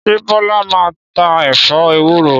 Ṣé Bọ́lá máa ń ta ẹ̀fọ́ ewúro?